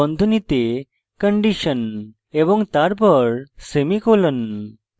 while space বন্ধনীতে condition এবং তারপর semicolon